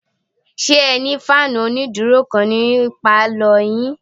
Ṣé ẹ ní fáànù onídúró kan ní pálọ̀ yín?